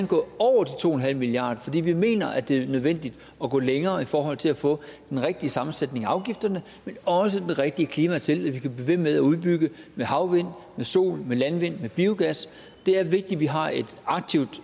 gå over de to en halv milliard kr fordi vi mener at det er nødvendigt at gå længere i forhold til at få en rigtig sammensætning af afgifterne men også det rigtige klima til at vi kan ikke ved med at udbygge med havvind med sol med landvind med biogas det er vigtigt at vi har et aktivt